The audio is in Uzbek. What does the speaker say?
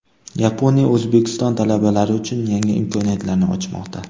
Yaponiya O‘zbekiston talabalari uchun yangi imkoniyatlarni ochmoqda!.